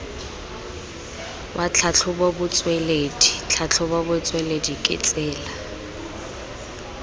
wa tlhatlhobotsweledi tlhatlhobotsweledi ke tsela